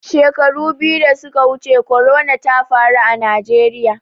Shekaru biyu da suka wuce corona ta faru a Najeriya.